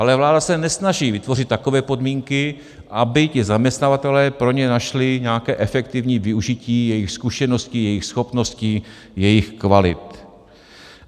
Ale vláda se nesnaží vytvořit takové podmínky, aby ti zaměstnavatelé pro ně našli nějaké efektivní využití jejich zkušeností, jejich schopností, jejich kvalit.